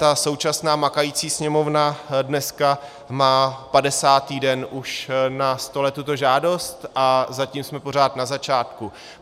Ta současná makající Sněmovna dneska má 50. den už na stole tuto žádost, a zatím jsme pořád na začátku.